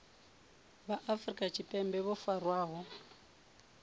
vha afrika tshipembe vho farwaho